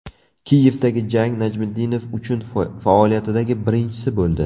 Kiyevdagi jang Najmiddinov uchun faoliyatidagi birinchisi bo‘ldi.